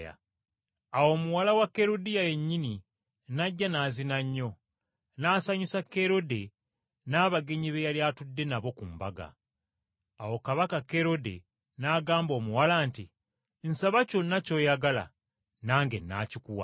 Awo muwala wa Kerudiya yennyini n’ajja n’azina nnyo, n’asanyusa Kerode n’abagenyi be yali atudde nabo ku mbaga. Awo Kabaka Kerode n’agamba omuwala nti, “Nsaba kyonna ky’oyagala nange nnaakikuwa.”